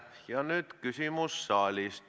Ja nüüd küsimus saalist.